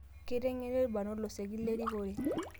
Keiteng'eni ilbarnot losekin lerikore